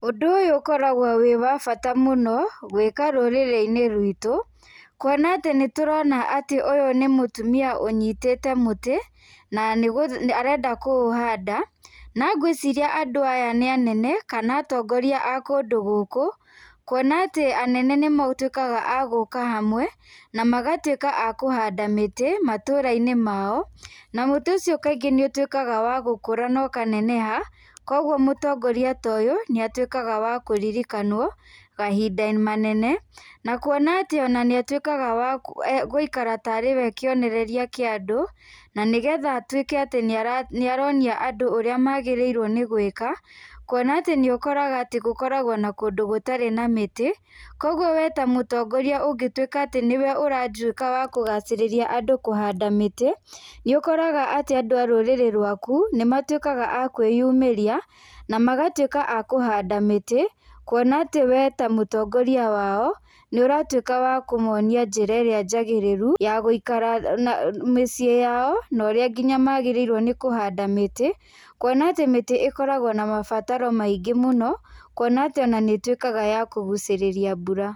Ũndũ ũyũ ũkoragwo wĩ wabata mũno, gwĩka rũrĩrĩ-inĩ rwitũ, kuona atĩ nĩ tũrona atĩ ũyũ nĩ mũtumia ũnyitĩte mũtĩ, na arenda kũũhanda, na gwĩciria andũ aya nĩ anene kana atongoria a kũndũ gũkũ, kuona atĩ anene nĩ matuĩkaga agũka hamwe na magatuĩka akũhanda mĩtĩ matũra-inĩ mao, na mũtĩ ũcio kaingĩ nĩ ũtuĩkaga wa gũkũra na ũkaneneha, kogwo mũtongoria ta ũyũ, nĩ atuĩkaga wa kũririkanwo kahinda manene, na kuona atĩ ona nĩ atuĩkaga wa e gũikara tarĩ we kĩonereria kĩa andũ, na nĩgetha atuĩke atĩ nĩ aronia andũ ũrĩa magĩrĩrwo nĩ gwĩka, kuona atĩ nĩ ũkoraga atĩ gũkoragwo na kũndũ gũtarĩ na mĩtĩ, kogwo we ta mũtongoria ũngĩtuĩka atĩ nĩwe ũratuĩka wa kũgacĩrĩria andũ kũhanda mĩtĩ, nĩ ũkoraga atĩ andũ arũrĩrĩ rwaku, nĩ matuĩkaga a kwĩyumĩria, na magatuĩka akũhanda mĩtĩ, kuona atĩ we ta mũtongoria wao, nĩ ũratuĩka wa kũmonia njĩra ĩrĩa njagĩrĩru, ya gwĩikara na mĩciĩ yao, na ũrĩa ngina magĩrĩirwo nĩ kũhanda mĩtĩ, kuona atĩ mĩtĩ ĩkoragwo na mabataro maingĩ mũno, kuona atĩ ona nĩ ĩtuĩkaga ya kũgucĩrĩria mbura.